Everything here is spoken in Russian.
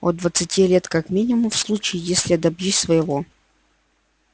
от двадцати лет как минимум в случае если я добьюсь своего